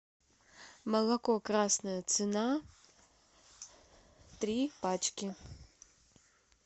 молоко красная цена три пачки